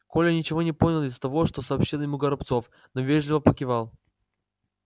коля ничего не понял из того что сообщил ему горобцов но вежливо покивал